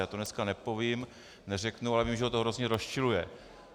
Já to dneska nepovím, neřeknu, ale vím, že ho to hrozně rozčiluje.